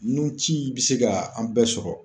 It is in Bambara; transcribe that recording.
Nun ci be se ka an bɛɛ sɔrɔ